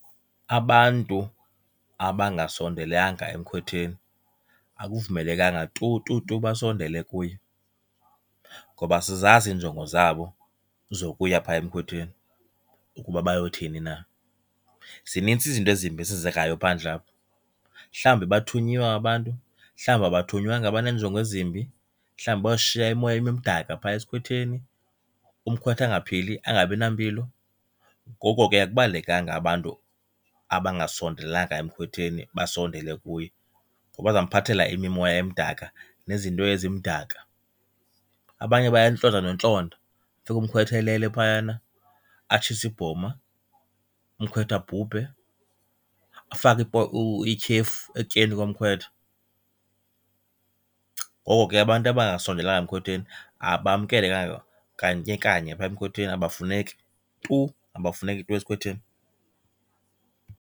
Abantu abangasondelanga emkhwetheni akuvumelekanga tu tu tu basondele kuye ngoba asizazi iinjongo zabo zokuya phaa emkhwetheni ukuba bayothini na. Zinintsi izinto ezimbi ezenzekayo phandlapha, mhlawumbi bathunyiwe aba bantu, mhlawumbi abathunywanga baneenjongo ezimbi, mhlawumbi bayoshiya imimoya emdaka phaya esikhwetheni umkhwetha angaphili angabi nampilo. Ngoko ke akubalulekanga abantu abangasondelanga emkhwetheni basondele kuye ngoba bazomphathela imimoya emdaka nezinto ezimdaka. Abanye bayantlonta nokuntlonta fika umkhwetha elele phayana, atshise ibhoma umkhwetha abhubhe, afake ityhefu ekutyeni komkhwetha. Ngoko ke abantu abangasondelanga emkhwetheni abamkelekanga kanye kanye phaa emkhwetheni, abafuneki tu. Abafuneki tu esikhwetheni.